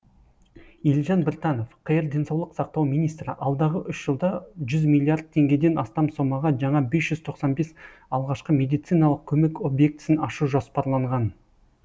елжан біртанов қр денсаулық сақтау министрі алдағы үш жылда жүз миллиард теңгеден астам сомаға жаңа бес жүз тоқсан бес алғашқы медициналық көмек объектісін ашу жоспарланған